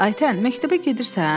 Ayten, məktəbə gedirsən?